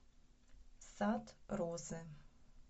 сад розы